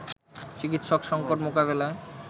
চিকিৎসক সংকট মোকাবেলায়